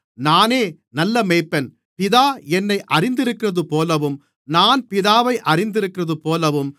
நானே நல்ல மேய்ப்பன் பிதா என்னை அறிந்திருக்கிறதுபோலவும் நான் பிதாவை அறிந்திருக்கிறதுபோலவும்